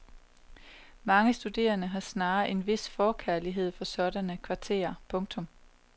Mange studerende har snarere en vis forkærlighed for sådanne kvarterer. punktum